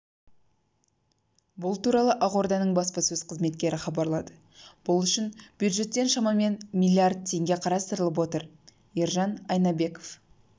бұл туралы ақорданың баспасөз қызметі хабарлады бұл үшін бюджеттен шамамен миллиард теңге қарастылып отыр ержан айнабеков